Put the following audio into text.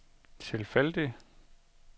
tilfældig